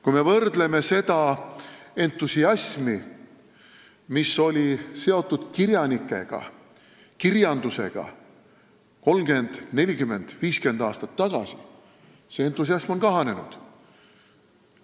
Kui me võrdleme seda entusiasmi, millega me suhtusime kirjanikesse, kirjandusse 30, 40, 50 aastat tagasi, siis näeme, et see entusiasm on kahanenud.